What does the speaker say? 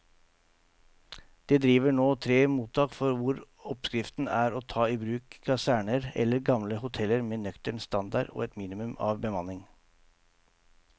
Det driver nå tre mottak hvor oppskriften er å ta i bruk kaserner eller gamle hoteller med nøktern standard og et minimum av bemanning.